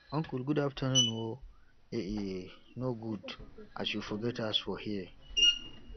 uncle good afternoon o e e no good as you forget us for here